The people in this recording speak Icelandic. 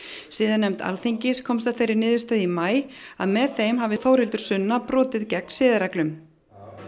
siðanefnd Alþingis komst að þeirri niðurstöðu í maí að með þeim hafi Þórhildur Sunna brotið gegn siðareglum